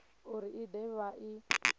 uri i de vha i